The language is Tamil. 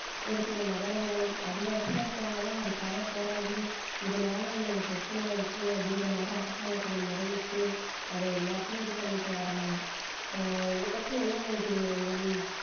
ஒரு சில நகரங்கள் அந்த இடத்துல இருக்கவங்கதான் அதுக்காக போராடி இதுனால எங்களுக்கு பிரச்சனை இருக்கு அப்படின்ற மாதிரி அரசாங்கத்திடம் முறையிட்டு அத எல்லாத்தையும் இது பண்ணிட்டு வர்றாங்க ஆஹ் இது பத்தி என்ன நினைக்கிறீங்க அஞ்சலி